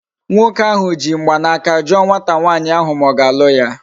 Nwoke ahu ji mgbanaka juo nwata nwaanyi ahu ma o ga-alu ya